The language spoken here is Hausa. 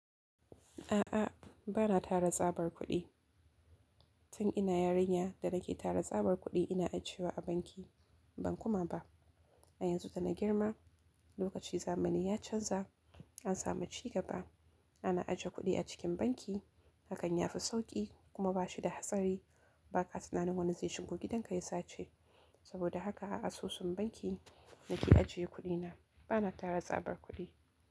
A'a, ba na tara tsabar kuɗi. Tun ina yarinya da nake tara tsabar kuɗi ina ajewa a banki, ban kuma ba. A yanzu da na girma, lokaci zamani ya canza, an samu ci gaba. Ana aje kuɗi a cikin banki, hakan ya fi sauƙi kuma ba shi da hatsari. Ba ka tunanin wani zai shigo gidanka ya sace. Saboda haka a asusun banki nake ajiye kuɗina. Ba na tara tsabar kuɗi.